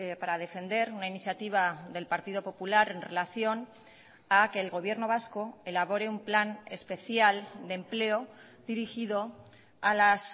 para defender una iniciativa del partido popular en relación a que el gobierno vasco elabore un plan especial de empleo dirigido a las